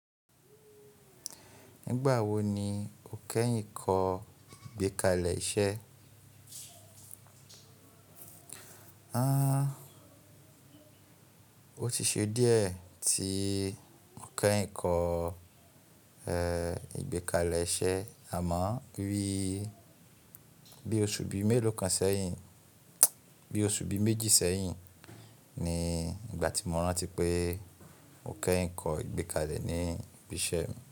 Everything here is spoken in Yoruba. Nígbà wo ni o kẹ́yìn kọ́ ìgbékalẹ̀ iṣẹ́? O ti ṣe díẹ̀ tí mo kẹ́yìn kọ ìgbékalẹ̀ iṣẹ́, àmọ́ bí óṣu bi melokan seyin bí óṣu bi méjì sẹ́yìn ni ìgbà tí mo rántí pé mo kẹ́yìn kọ ìgbékalẹ̀ ní bí i ṣe.